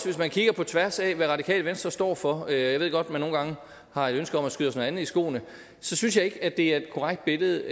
hvis man kigger på tværs af hvad radikale venstre står for og jeg ved godt man nogle gange har et ønske os noget andet i skoene så synes jeg ikke at det er et korrekt billede